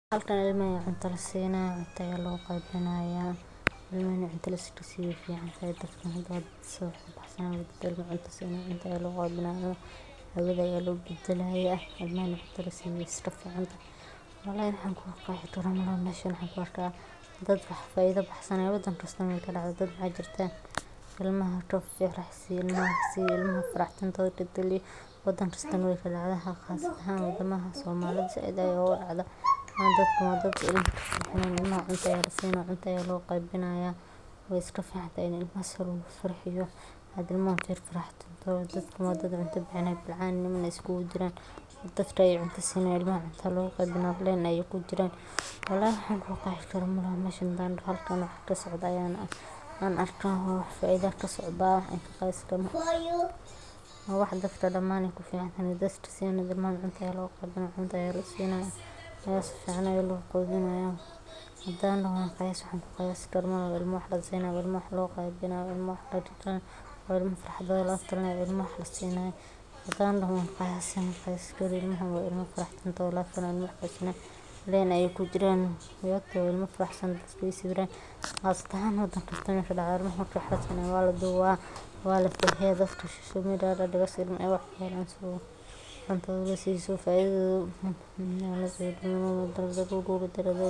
Qaybinta cuntada dadka baahan waa hawl muhiim ah oo u baahan qorsheyn, dadaal, iyo wada-shaqeyn dhexmarta hay’adaha samafalka, bulshada deegaanka, iyo dadka deeqaha bixiya si loo hubiyo in cunto ku filan gaarto qoysaska danyarta ah ee aan haysan wax ay cunaan maalintii; hawshan waxaa lagu bilaabaa uruurinta deeqaha cunto, oo laga helo ganacsatada, dadka samafalka jecel, iyo hay’adaha caalamiga ah, kadibna waxaa la diyaariyaa qorshe qeybinta ah oo lagu saleeyo baahida dadka, iyadoo loo eegayo xaalada caafimaad, tirada carruurta, da’da dadka, iyo deegaanka ay ku nool yihiin, si cadaalad iyo sinnaan ah.